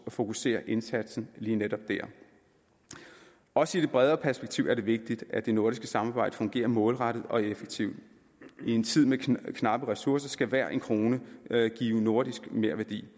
fokusere indsatsen lige netop der også i det bredere perspektiv er det vigtigt at det nordiske samarbejde fungerer målrettet og effektivt i en tid med knappe ressourcer skal hver en krone give nordisk merværdi